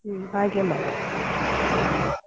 ಹ್ಮ್‌ ಹಾಗೆ ಮಾಡು .